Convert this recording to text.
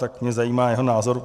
Tak mě zajímá jeho názor.